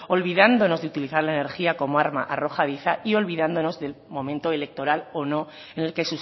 olvidándonos de utilizar la energía como arma arrojadiza y olvidándonos del momento electoral o no en el que